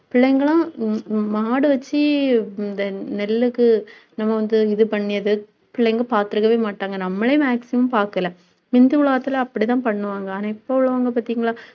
பிள்ளைங்களும் மாடு வச்சு இந்த நெல்லுக்கு, நம்ம வந்து இது பண்ணியது பிள்ளைங்க பார்த்திருக்கவே மாட்டாங்க நம்மளே maximum பார்க்கலை முந்தி உள்ள காலத்தில அப்படித்தான் பண்ணுவாங்க. ஆனா இப்ப உள்ளவங்க பார்த்தீங்களா